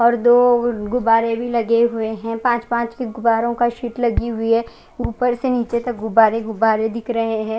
और दो गुबारे भी लगे हुए है पाच पाच गुबारे की सिट लगी हुई है उपर से निचे तक गुबारे गुबारे दिख रहे है।